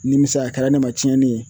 Nimisa kɛra ne ma cɛnni ye